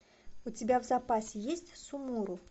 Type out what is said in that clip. у тебя в запасе есть сумуру